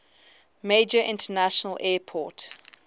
major international airport